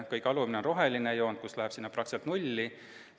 Kõige alumine on roheline joon, mis läheb praktiliselt nulli.